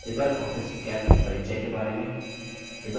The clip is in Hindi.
लिबर ऑफिस calc के परिचय के बारे में